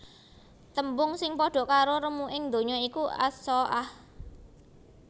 Tembung sing padha karo remuking ndonya iku As Saa ah